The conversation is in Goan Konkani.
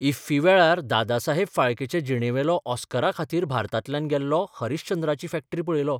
इफ्फी वेळार दादासाहेब फाळकेचे जिणेवेलो ऑस्करा खातीर भारतांतल्यान गेल्लो ' हरिश्चंद्राची फॅक्टरी 'पळयिल्लो.